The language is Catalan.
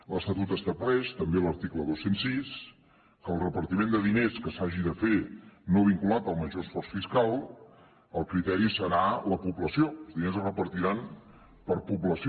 l’estatut estableix també a l’article dos cents i sis que el repartiment de diners que s’hagi de fer no vinculat al major esforç fiscal el criteri serà la població els diners es repartiran per població